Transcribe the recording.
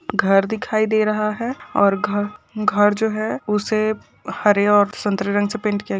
घर दिखाई दे रहा है और घ घर जो है उसे हरे और सतरे रंग से पेंट किया।